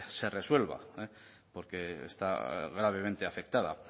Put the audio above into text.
pues se resuelva porque está gravemente afectada